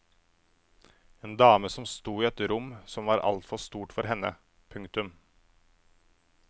En dame som stod i et rom som var altfor stort for henne. punktum